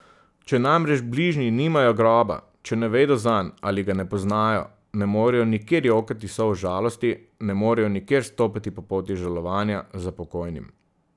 Če namreč bližnji nimajo groba, če ne vedo zanj ali ga ne poznajo, ne morejo nikjer jokati solz žalosti, ne morejo nikjer stopati po poti žalovanja za pokojnim.